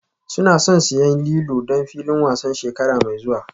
Suna son siyan lilo don filin wasan shekara mai zuwa